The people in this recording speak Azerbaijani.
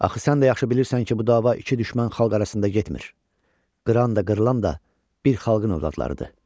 Axı sən də yaxşı bilirsən ki, bu dava iki düşmən xalq arasında getmir, qıran da, qırılan da bir xalqın övladlarıdır.